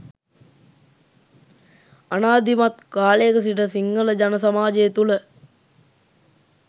අනාදිමත් කාලයක සිට සිංහල ජන සමාජය තුළ